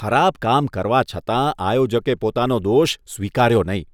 ખરાબ કામ કરવા છતાં આયોજકે પોતાનો દોષ સ્વીકાર્યો નહીં